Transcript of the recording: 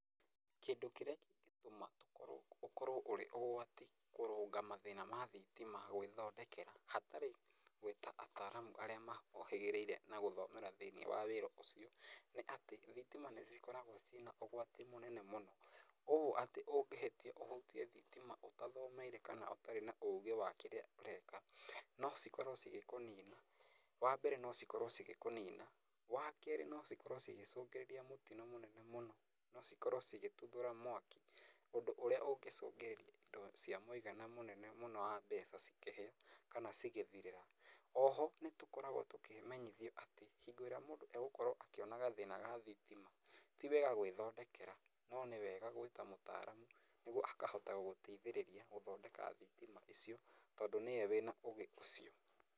Kĩndũ kĩrĩa kĩngĩtũma ũkorwo ũrĩ ũgwati kũrũnga mathĩna ma thitima gwĩthondekera hatarĩ gwĩta ataramu arĩa mohĩgĩrĩire na gũthomera thĩiniĩ wa wĩra ũcio nĩ atĩ thitima nĩcikoragwo cĩna ũgwati mũnene mũno, ũyũ atĩ ũngĩhĩtia ũhutie thitima ũtathomeire kana ũtarĩ na ũgĩ wa kĩrĩa ũreka no cikorwo cigĩkũnina. Wa mbere no cikorwo cigĩkũnina, wa kerĩ no cikorwo cigĩcũngĩrĩria mũtino mũnene mũno no cikorwo cigĩtuthũra mwaki ũndũ ũrĩa ũngĩcũngĩrĩria ĩndo cia mũigana mũnene mũno wa mbeca cikĩhĩe kana cigĩthirĩra. Oho nĩ tũkoragwo tũkĩmenyithio atĩ hindĩ ĩrĩa mũndũ egũkorwo akĩona gathĩna ga thitima ti wega gwĩthondekera no nĩ wega gwĩta mũtaramu niguo akahota gũteithĩrĩria ũhoro wa thitima icio tondũ nĩwe wĩna ũgĩ ũcio.